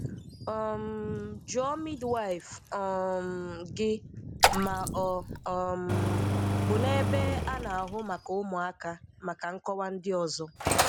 um Jụọ midwife um gị, ma ọ um bụ n'ebe a na-ahụ maka ụmụaka maka nkọwa ndị ọzọ.